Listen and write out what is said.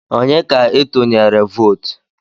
Onye ka itunyere vootu?